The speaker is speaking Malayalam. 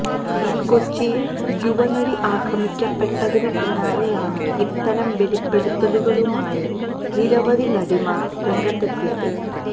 കൊച്ചിയില് യുവനടി ആക്രമിക്കപ്പെട്ടതിന് പിന്നാലെയാണ് ഇത്തരം വെളിപ്പെടുത്തലുകളുമായി നിരവധി നടിമാര് രംഗത്തെത്തിയത്